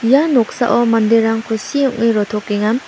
ia noksao manderang kusi ong·e rotokenga.